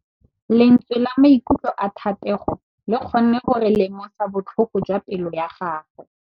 Lentswe la maikutlo a Thategô le kgonne gore re lemosa botlhoko jwa pelô ya gagwe.